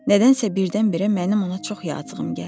Nədənsə birdən-birə mənim ona çox yazığım gəldi.